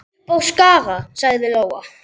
Upp á Skaga, sagði Lóa.